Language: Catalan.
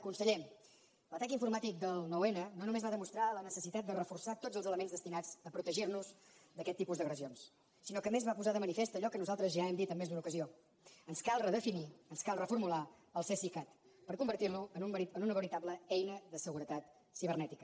conseller l’atac informàtic del nou n no només va demostrar la necessitat de reforçar tots els elements destinats a protegir nos d’aquest tipus d’agressions sinó que a més va posar de manifest allò que nosaltres ja hem dit en més d’una ocasió ens cal redefinir ens cal reformular el cesicat per convertir lo en una veritable eina de seguretat cibernètica